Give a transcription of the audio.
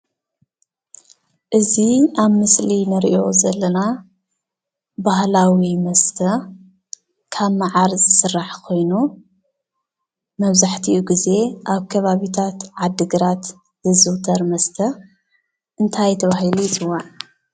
አዚ ኣብ ምስሊ ንሪኦ ዘለና ባህላዊ መስተ ካብ ማዓር ዝስራሕ ኾይኑ መብዛሕቲኡ ጊዜ ኣብ ከባብታት ዓዲግራት ዝዝውተር መስተ እንታይ ተባሂሉ ይፅዋዕ?